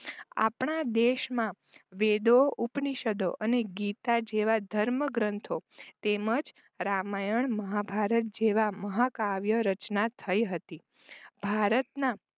આપણા દેશમાં વેદો ઉપનિષદો અને દીતા જેવા ધર્મગ્રંથો તેમજ રામાયણ મહાભારત જેવા મહાકાવ્ય રચના થઈ હતી. ભારતના